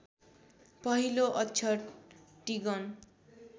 पहिलो अक्षर टिगन